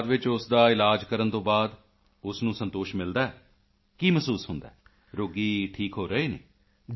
ਅਤੇ ਬਾਅਦ ਵਿੱਚ ਉਸ ਦਾ ਇਲਾਜ ਕਰਨ ਤੋਂ ਬਾਅਦ ਉਸ ਨੂੰ ਸੰਤੋਸ਼ ਮਿਲਦਾ ਹੈ ਕੀ ਮਹਿਸੂਸ ਹੁੰਦਾ ਹੈਰੋਗੀ ਠੀਕ ਹੋਰਹੇ ਹਨ